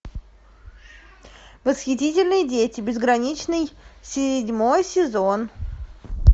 восхитительные дети безграничный седьмой сезон